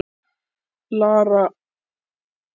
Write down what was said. Lára Ómarsdóttir: Ertu óhress með flokksbræður þína í Reykjavík?